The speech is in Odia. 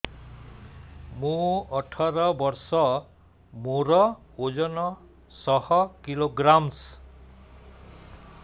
ମୁଁ ଅଠର ବର୍ଷ ମୋର ଓଜନ ଶହ କିଲୋଗ୍ରାମସ